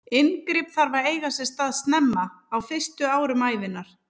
Inngrip þarf að eiga sér stað snemma, á fyrstu árum ævinnar.